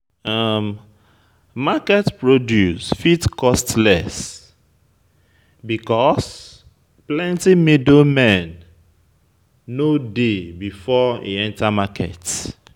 Market produce fit cost less because plenty middle man no dey before e enter market